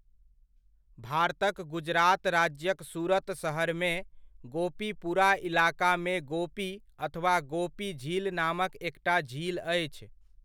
भारतक गुजरात राज्यक सूरत सहरमे, गोपीपुरा इलाकामे गोपी अथवा गोपी झील नामक एकटा झील अछि।